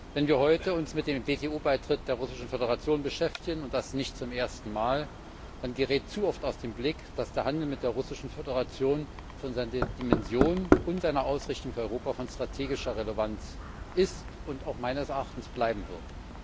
Wenn wir uns heute mit dem WTO Beitritt der Russischen Föderation beschäftigen und das nicht zum ersten Mal dann gerät zu oft aus dem Blick, dass der Handel mit der Russischen Föderation von seiner Dimension und seiner Ausrichtung für Europa von strategischer Relevanz ist und meines Erachtens bleiben wird.